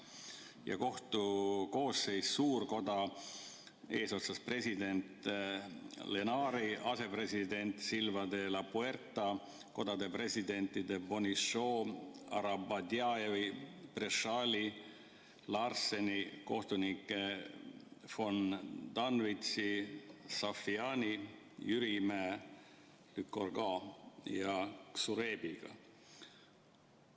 Ja kohtu koosseis: suurkoda eesotsas president Koen Lenaertsi, asepresident Rosario Silva de Lapuerta, kodade presidentide Bonichot', Arabadjievi, Prechali, Larseni, kohtunike von Danwizi, Safjani, Jürimäe, Lycourgose ja Xuerebiga.